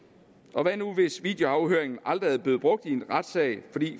og hvad nu hvis videoafhøringen aldrig er blevet brugt i en retssal